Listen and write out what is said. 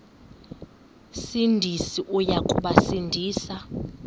sindisi uya kubasindisa